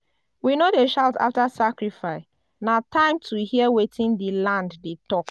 we no dey shout after sacrifice na time to hear wetin di land dey talk.